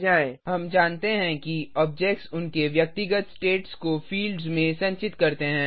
httpwwwspoken tutorialorg हम जानते हैं कि ऑब्जेक्ट्स उनके व्यक्तिगत स्टेट्स को फील्ड्स में संचित करते हैं